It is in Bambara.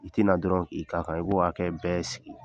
I tina dɔrɔn k'i k'a kan, i b'o hakɛ bɛɛ sigi